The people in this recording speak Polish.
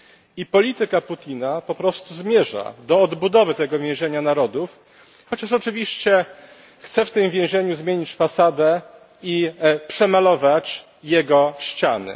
I polityka Putina po prostu zmierza do odbudowy tego więzienia narodów, chociaż oczywiście chce w tym więzieniu zmienić fasadę i przemalować jego ściany.